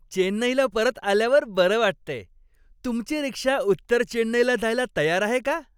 चेन्नईला परत आल्यावर बरं वाटतंय. तुमची रिक्षा उत्तर चेन्नईला जायला तयार आहे का?